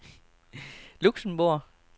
Luxembourg